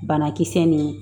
Banakisɛ nin